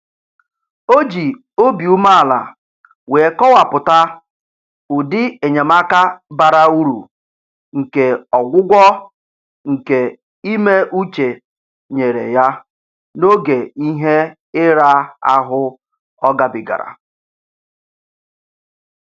O ji obi umeala wee kọwapụta ụdị enyemaka bara uru nke ọgwụgwọ nke ime uche nyere ya n'oge ihe ira ahụ ọ gabigara